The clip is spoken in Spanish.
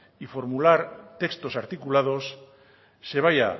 y formular textos articulados se vaya